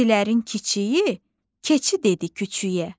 Keçilərin kiçiyi keçdi küçüyə.